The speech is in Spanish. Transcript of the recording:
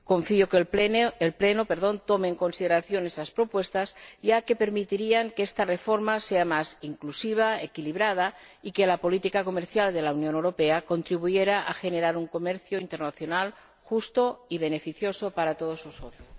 Confío en que el Pleno tome en consideración estas propuestas, ya que permitirían que esta reforma fuera más inclusiva, equilibrada, y que la política comercial de la Unión Europea contribuyera a generar un comercio internacional justo y beneficioso para todos nosotros.